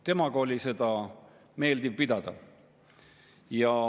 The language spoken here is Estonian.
Temaga oli seda meeldiv pidada.